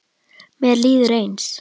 Mér líður eins.